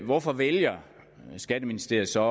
hvorfor vælger skatteministeriet så